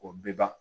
O bɛ ban